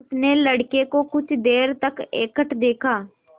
उसने लड़के को कुछ देर तक एकटक देखा